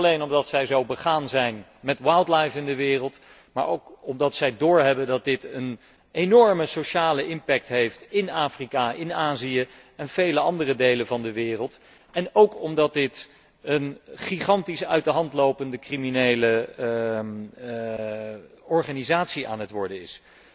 Niet alleen omdat zij zo begaan zijn met wildlife in de wereld, maar ook omdat zij doorhebben dat dit een enorme sociale impact heeft in Afrika, in Azië en vele andere delen van de wereld, en ook omdat dit een uit de hand lopende gigantische criminele organisatie aan het worden is.